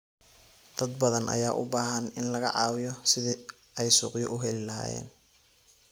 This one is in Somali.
Dad badan ayaa u baahan in laga caawiyo sidii ay suuqyo u heli lahaayeen.